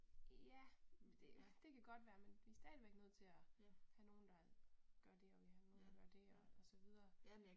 Ja, det det kan godt være, men vi stadigvæk nødt til at have nogen der gør det og vi have nogen, der gør det og og så videre